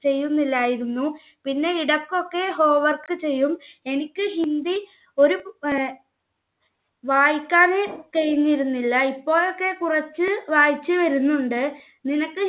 ചെയ്യുന്നില്ലായിരുന്നു. പിന്നെ ഇടക്കൊക്കെ homework ചെയ്യും. എനിക്ക് hindi ഒരു ~ വായിക്കാനേ കഴിഞ്ഞിരുന്നില്ല. ഇപ്പോഴൊക്കെ കുറച്ചു വായിച്ചു വരുന്നുണ്ട്. നിനക്ക്